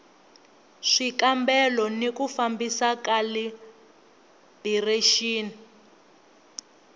swikambelo ni ku fambisa khalibirexini